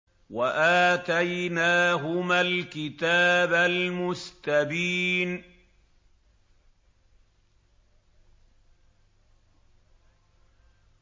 وَآتَيْنَاهُمَا الْكِتَابَ الْمُسْتَبِينَ